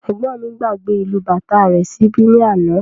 Ẹgbọn mí gbàgbé ìlù bàtá rẹ̀ síbí ní àna